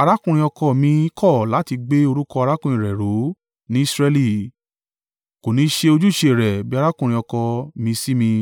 “Arákùnrin ọkọ ọ̀ mi kọ̀ láti gbé orúkọ arákùnrin rẹ̀ ró ní Israẹli. Kò ní ṣe ojúṣe rẹ̀ bí arákùnrin ọkọ mi sí mi.”